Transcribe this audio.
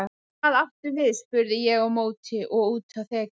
Hvað áttu við spurði ég á móti og úti á þekju.